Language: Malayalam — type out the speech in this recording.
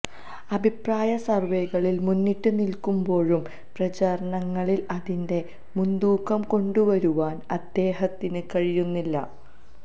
അഭിപ്രായ സര്വ്വേകളില് മുന്നിട്ട് നില്ക്കുമ്ബോഴും പ്രചാരണങ്ങളില് അതിന്റെ മുന്തൂക്കം കൊണ്ടുവരുവാന് അദ്ദേഹത്തിന് കഴിയുന്നില്ല